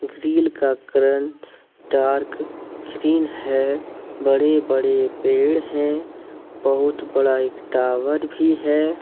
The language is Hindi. ग्रील का कलर डार्क ग्रीन है बड़े बड़े पेड़ हैं बहुत बड़ा एक टावर भी है।